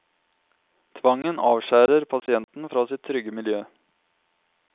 Tvangen avskjærer pasienten fra sitt trygge miljø.